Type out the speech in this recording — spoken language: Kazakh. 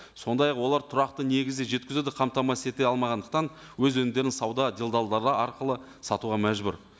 сондай ақ олар тұрақты негізде жеткізуді қамтамасыз ете алмағандықтан өз өнімдерін сауда делдалдары арқылы сатуға мәжбүр